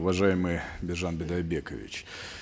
уважаемый биржан бидайбекович